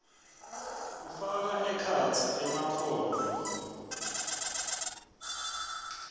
kufaka ekhatsi emakhono